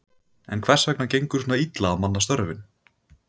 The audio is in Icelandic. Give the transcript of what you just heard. En hvers vegna gengur svona illa að manna störfin?